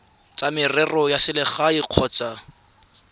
tsa merero ya selegae kgotsa